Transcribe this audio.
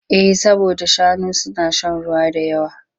Eh saboda shanu na shan ruwa da yawa.